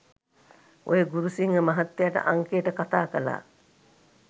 ඔය ගුරුසිංහ මහත්තයාට අංකයට කථා කළා